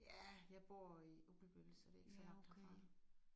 Ja jeg bor i Ugelbølle så det ikke så langt herfra